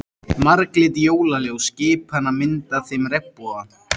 Marglit jólaljós skipanna mynda þeim regnboga.